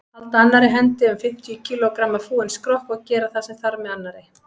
Halda annarri hendi um fimmtíu kílógramma fúinn skrokk og gera það sem þarf með annarri.